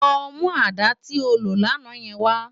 Lò mú àdá ti ó ló làná wâ